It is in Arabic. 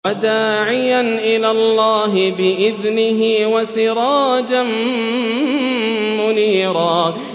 وَدَاعِيًا إِلَى اللَّهِ بِإِذْنِهِ وَسِرَاجًا مُّنِيرًا